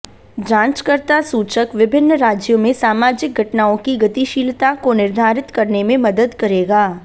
जांचकर्ता सूचक विभिन्न राज्यों में सामाजिक घटनाओं की गतिशीलता को निर्धारित करने में मदद करेगा